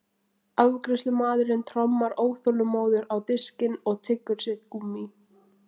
Afgreiðslumaðurinn trommar óþolinmóður á diskinn og tyggur sitt gúmmí.